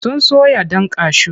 Sun soya ɗan kashu.